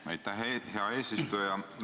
Jah, aitäh, hea eesistuja!